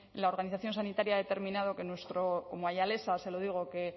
la organización sanitaria ha determinado como ayalesa se lo digo que